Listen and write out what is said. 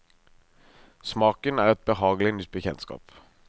Smaken er et behagelig nytt bekjentskap.